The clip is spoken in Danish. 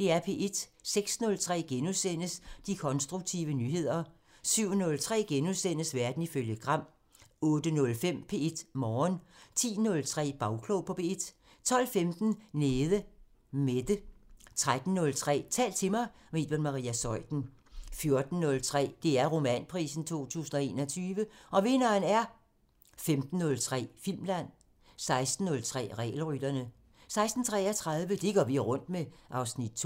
06:03: De konstruktive nyheder * 07:03: Verden ifølge Gram * 08:05: P1 Morgen 10:03: Bagklog på P1 12:15: Nede Mette 13:03: Tal til mig – med Iben Maria Zeuthen 14:03: DR Romanprisen 2021 – Og vinderen er... 15:03: Filmland 16:03: Regelrytterne 16:33: Det vi går rundt med (Afs. 2)